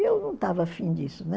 E eu não estava afim disso, né?